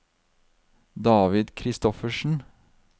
David Kristoffersen